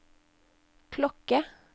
klokke